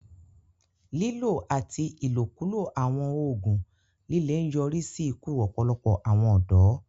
Lílò àti ìlòkulò àwọn oògùn líle ń yọrí sí ikú ọ̀pọ̀lọpọ̀ àwọn ọ̀dọ́